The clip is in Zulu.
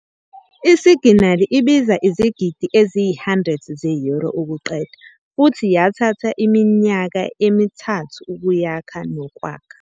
Isiginali ibiza izigidi eziyi-100 ze-Euro ukuqeda futhi yathatha iminyaka emi-3 ukuyakha nokwakha.